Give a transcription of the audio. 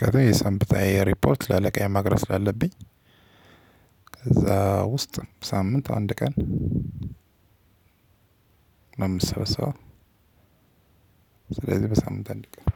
ከዚያ የሰነበተ ሪፖርት ለአለቃዬ ማድረስ አለብኝ። ከዛ ውስጥ ሳምንት አንድ ቀን። አምሰበሰበው ስለዚህ በሳምንት አንድ ቀን